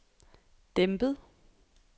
dæmpet